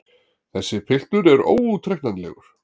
Þessi piltur er óútreiknanlegur!